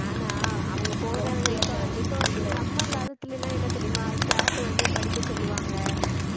ஏன்னா அவங்க போகிறதே இப்போ இப்போ வந்~ நம்ம காலத்துல எல்லாம் என்ன தெரியுமா staff வந்து படிக்க சொல்லுவாங்க